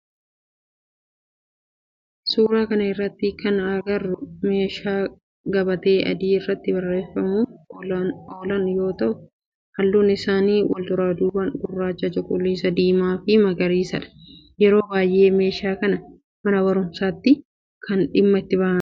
Suuraa kana irratti kana agarru meeshaa gabatee adii irratti barreessuuf oolan yoo ta'u halluun isaanii walduraa duuban gurraacha, cuquliisa, diimaa fi magariisadha. Yeroo baayyee meeshaa kana mana baruumsatti dhimma itti bahaama.